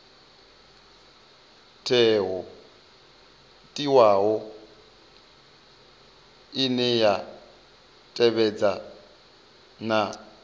teaho ine ya tevhedza na